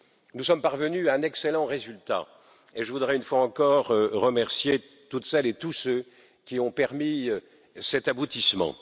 Nous sommes parvenus à un excellent résultat et je voudrais une fois encore remercier toutes celles et tous ceux qui ont permis cet aboutissement.